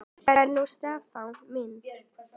Hvað er nú Stefán minn?